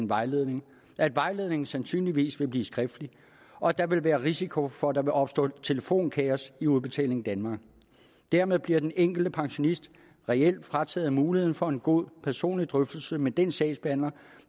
vejledning at vejledningen sandsynligvis vil blive skriftlig og at der vil være risiko for at der vil opstå telefonkaos i udbetaling danmark dermed bliver den enkelte pensionist reelt frataget muligheden for en god personlig drøftelse med den sagsbehandler